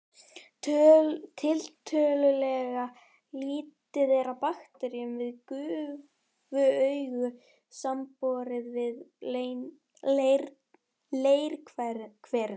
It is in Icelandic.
Tiltölulega lítið er af bakteríum við gufuaugu samanborið við leirhverina.